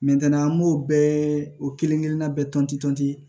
an b'o bɛɛ o kelen kelenna bɛɛ tɔnti